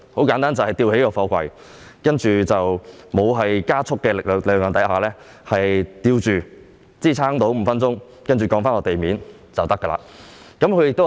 簡單而言是把貨櫃吊起，在沒有加速的情況下舉吊，支撐5分鐘後降低至地面便可以。